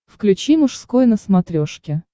включи мужской на смотрешке